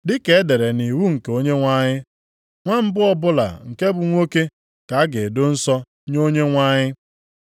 (dịka e dere ya nʼiwu nke Onyenwe anyị, “Nwa mbụ ọbụla nke bụ nwoke ka a ga-edo nsọ nye Onyenwe anyị” + 2:23 \+xt Ọpụ 13:2,12\+xt*),